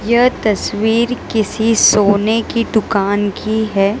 यह तस्वीर किसी सोने की दुकान की है।